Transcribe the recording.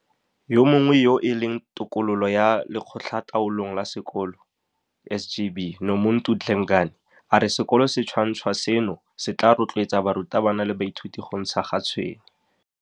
Yo mongwe yo e leng tokololo ya Lekgotlataolong la Sekolo, SGB, Nomuntu Dlengane, a re sekolo se sentšhwa seno se tla rotloetsa barutabana le baithuti go ntsha ga tshwene.